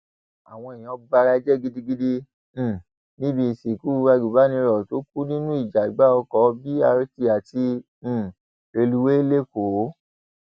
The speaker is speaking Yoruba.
àwọn èèyàn bara jẹ gidigidi um níbi ìsìnkú agùnbánirò tó kù nínú ìjàgbá ọkọ b rt àti um rélùwéè lẹkọọ